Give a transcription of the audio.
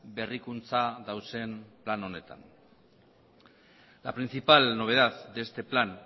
berrikuntza dauden plan honetan la principal novedad de este plan